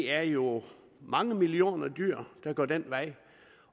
er jo mange millioner dyr der går den vej